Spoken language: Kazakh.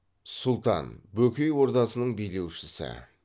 сұлтан бөкей ордасының билеушісі